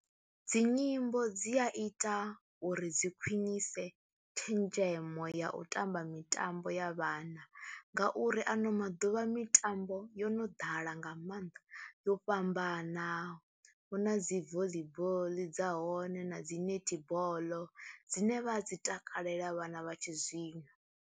Dzi nyimbo dzi a ita uri dzi khwinise tshenzhemo ya u tamba mitambo ya vhana ngauri ano maḓuvha mitambo yo no ḓala nga maanḓa, yo fhambana hu na dzi volleyball, dza hone na dzi netball dzine vha a dzi takalela vhana vha tshizwino.